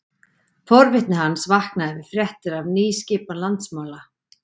Forvitni hans vaknaði við fréttir af nýskipan landsmála.